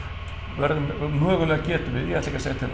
verðum mögulega getum við ég ætla